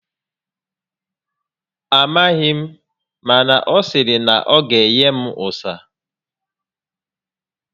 A maghị m, mana ọ sịrị na ọ ga enye m ụsa